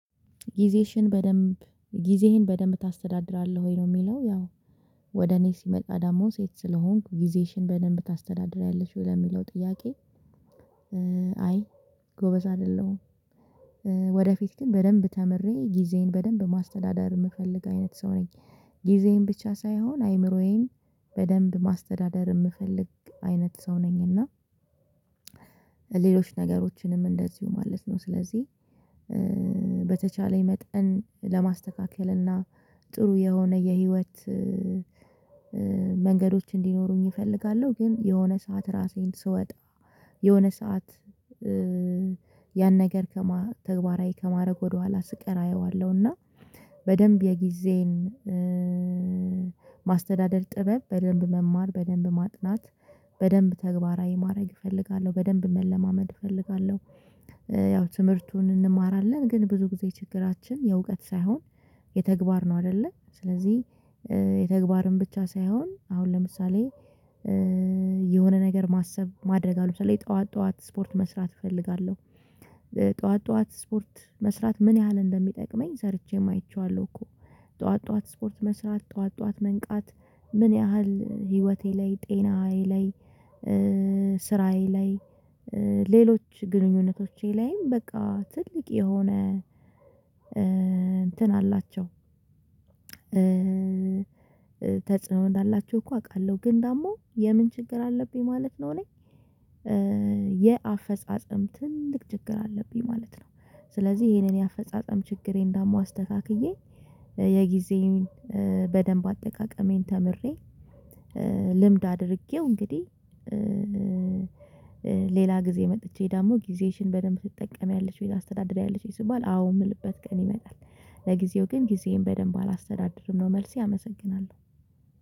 ጊዜሽን በደንብ ጊዜህን በደንብ ታስተዳድራለህ ወይ ነው የሚለው ያው ወደ እኔ ሲመጣ ዳሞ ሴት ስለሆንኩ ጊዜሽን በደንብ ታስተዳድሪያለሽ ወይ ለሚለው ጥያቄ? አይ ጎበዝ አይደለሁም። ወደፊት ግን በደንብ ተምሬ ጊዜዬን በደንብ ማስተዳደር የምፈልግ አይነት ሰው ነኝ። ጊዜዬን ብቻ ሳይሆን አይምሮዬን በደንብ ማስተዳደር የምፈልግ አይነት ሰው ነኝ እና። ሌሎች ነገሮችንም እንደዚሁ ማለት ነው ስለዚህ በተቻለኝ መጠን ለማስተካከል እና ጥሩ የሆነ የህይወት መንገዶች እንዲኖሩኝ እፈልጋለሁ። ግን የሆነ ሰዓት ራሴን ስወጣ የሆነ ሰዓት ያን ነገር ከመ ተግባራዊ ከማድረግ ወደኋላ ስቀራ አየዋለሁ። እና በደንብ የጊዜን ማስተዳደር ጥበብ በደንብ መማር በደንብ ማጥናት በደንብ ተግባራዊ ማድረግ እፈልጋለሁ። በደንብ መለማመድ እፈልጋለሁ። ያው ትምህርቱን እንማራለን ግን ብዙ ጊዜ ችግራችን የእውቀት ሳይሆን የተግባር ነው አይደለም። ስለዚህ የተግባርን ብቻ ሳይሆን አሁን ለምሳሌ የሆነ ነገር ማሰብ ማድረግ አሁን ለምሳሌ ጠዋት ጠዋት ስፖርት መስራት እፈልጋለሁ። ጠዋት ጠዋት ስፖርት መስራት ምን ያህል እንደሚጠቅመኝ ሰርቼም አይቼዋለሁ እኮ። ጠዋት ጠዋት ስፖርት መስራት ጠዋት ጠዋት መንቃት ምን ያህል ህይወቴ ላይ ጤናዬ ላይ ስራዬ ላይ ሌሎች ግንኙነቶቼ ላይም በቃ ትልቅ የሆነ እንትን አላቸው። ተጽዕኖ እንዳላቸው እኮ አውቃለሁ ግን ደግሞ የምን ችግር አለብኝ ማለት ነው። እኔ የአፈጻጸም ትልቅ ችግር አለብኝ ማለት ነው። ስለዚህ ይሄንን የአፈጻጸም ችግሬን ዳሞ አስተካክዬ የጊዜውን በደንብ አጠቃቀሜን ተምሬ ልምድ አድርጌው እንግዲህ። ሌላ ጊዜ መጥቼ ደግሞ ጊዜሽን በደንብ ትጠቀሚያለች ወይ ታስተዳድሪያለች ወይ ስባል አዎ የምልበት ቀን ይመጣል። ለጊዜው ግን ጊዜዬን በደንብ አላስተዳደርም ነው መልሴ አመሰግናለሁ።